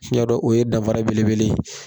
N ɲa dɔn o ye danfara belebele ye.